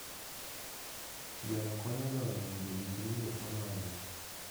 Gweno konyo joode yudo gik ringruok madwarore.